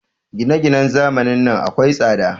Gine-ginen zamanin nan akwai tsada.